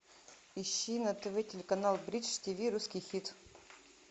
ищи на тв телеканал бридж тв русский хит